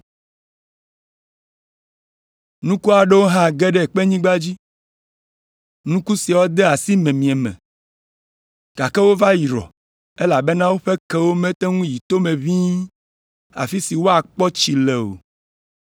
Nuku aɖewo hã ge ɖe kpenyigba dzi. Nuku siawo de asi miemie me, gake wova yrɔ elabena woƒe kewo mete ŋu yi tome ʋĩi afi si woakpɔ tsi le o.